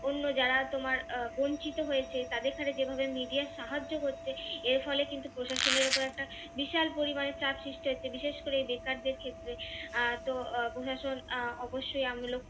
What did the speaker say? অন্য যারা তোমার আহ বঞ্চিত হয়েছে তাদের সাথে যেভাবে media র সাহায্য করছে এর ফলে কিন্তু প্রশাসনের ওপর একটা বিশাল পরিমাণে চাপ সৃষ্টি হয়েছে বিশেষ করে এই বেকারদের ক্ষেত্রে আহ তো প্রশাসন আহ অবশ্যই